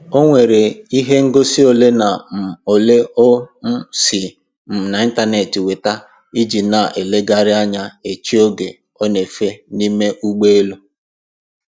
Onwere ihe ngosi ole na um ole o um si um na ịntaneetị weta iji na-elegharị anya echi oge ọ na-efe n'ime ụgbọelu